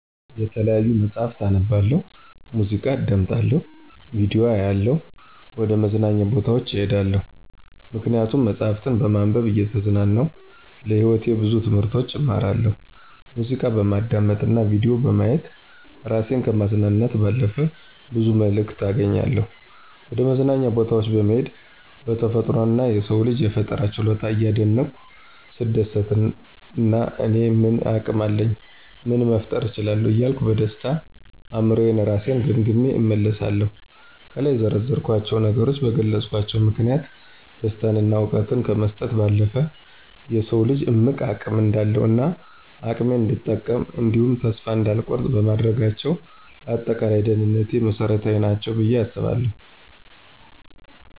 የተለያዩ መጽሀፍትን አነባለሁ፣ ሙዚቃ አዳምጣለሁ፣ ቪዲዮ አያለሁ፣ ወደ መዝናኛ ቦታዎች እሄዳለሁ። ምክንያቱም መጽሀፍትን በማንበብ እየተዝናናሁ ለህይወቴ ብዙ ትምህርቶችን እማራለሁ፣ ሙዚቃ በማዳመጥ እና ቪዲዮ በማየት እራሴን ከማዝናናት ባለፈ ብዙ መልክት አገኛለሁ፣ ወደመዝናኛ ቦታወች በመሄድ በተፈጥሮ እና የሰውን ልጅ የፈጠራ ችሎታ እያደነኩ ስደሰትና እኔ ምን አቅም አለኝ ምን መፍጠር እችላለሁ እያልኩ በደስተኛ አእምሮየ እራሴን ገምግሜ እመለሳለሁ። ከላይ የዘረዘርኳቸው ነገሮች በገለጽኳቸው ምክንያቶች ደስታን እና እውቀትን ከመስጠት ባለፈ የሰውን ልጅ እምቅ አቅም እንዳውቅ እና አቅሜን እንድጠቀም እንዲሁም ተስፋ እንዳልቆርጥ በማድረጋቸው ለአጠቃላይ ደህንነቴ መሰረታዊ ናቸው ብየ አስባለሁ።